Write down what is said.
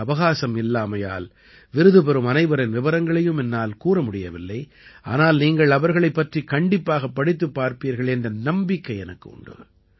போதிய அவகாசம் இல்லாமையால் விருது பெறும் அனைவரின் விபரங்களையும் என்னால் கூற முடியவில்லை ஆனால் நீங்கள் அவர்களைப் பற்றிக் கண்டிப்பாகப் படித்துப் பார்ப்பீர்கள் என்ற நம்பிக்கை எனக்கு உண்டு